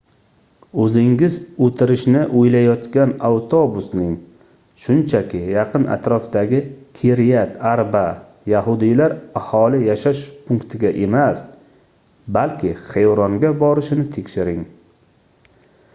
oʻzingiz oʻtirishni oʻylayotgan avtobusning shunchaki yaqin-atrofdagi kiryat arba yahudiylar aholi yashash punktiga emas balki xevronga borishini tekshiring